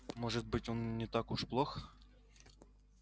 может быть он не так уж плох